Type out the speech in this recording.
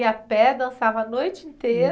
Ia a pé, dançava a noite inteira.